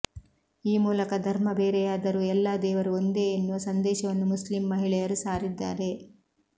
ಈ ಮೂಲಕ ಧರ್ಮ ಬೇರೆಯಾದರೂ ಎಲ್ಲಾ ದೇವರು ಒಂದೇ ಎನ್ನುವ ಸಂದೇಶವನ್ನು ಮುಸ್ಲಿಂ ಮಹಿಳೆಯರು ಸಾರಿದ್ದಾರೆ